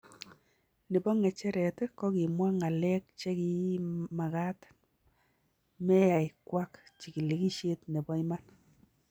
Nepo ng'echeret kokimwaa ng'aleek chekimakat meyai kwaak chigilisheet nepo iman